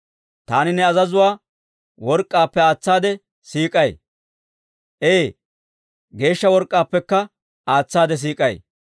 Taani ne azazuwaa work'k'aappe aatsaade siik'ay; Ee, geeshsha work'k'aappekka aatsaade siik'ay.